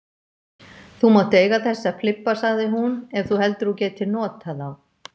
Þú mátt eiga þessa flibba sagði hún, ef þú heldur að þú getir notað þá.